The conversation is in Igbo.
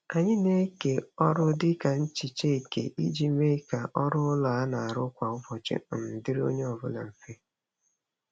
Anyị na-eke ọrụ dị ka nhicha eke iji mee ka ọrụ ụlọ a na-arụ kwa ụbọchị um dịrị onye ọbụla mfe.